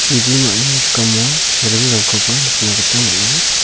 jibimani rikamo ringrangkoba nikna gita man·a.